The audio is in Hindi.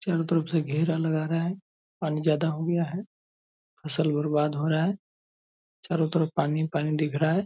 चारों तरफ से घेरा लगा रहा है पानी ज्यादा हो गया है फसल बर्बाद हो रहा है। चारों तरफ पानी ही पानी दिख रहा है।